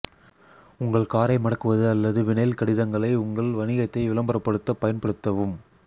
உங்கள் காரை மடக்குவது அல்லது வினைல் கடிதங்களை உங்கள் வணிகத்தை விளம்பரப்படுத்த பயன்படுத்தவும்